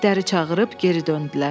İtləri çağırıb geri döndülər.